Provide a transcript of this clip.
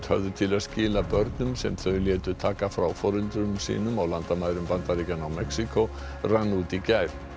höfðu til að skila börnum sem þau létu taka frá foreldrum sínum á landamærum Bandaríkjanna og Mexíkó rann út í gær